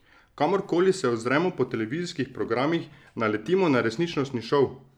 Kamorkoli se ozremo po televizijskih programih, naletimo na resničnostni šov!